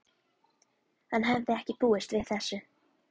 Hann hafði ekki búist við þessu.